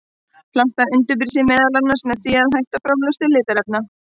Plantan undirbýr sig meðal annars með því að hætta framleiðslu litarefna.